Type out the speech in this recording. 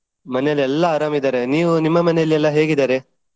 ಮನೇಲಿ ಎಲ್ಲ ಆರಾಮ್ ಇದ್ದಾರೆ. ನೀವು ನಿಮ್ಮ ಮನೇಲಿ ಎಲ್ಲ ಹೇಗಿದ್ದಾರೆ ?